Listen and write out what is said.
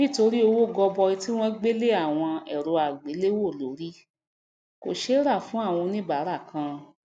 nítorí owó goboi tí won gbé lé awon èrò àgéléwò lórì kò sé rà fún áwon oníbárà kan